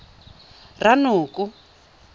ranoko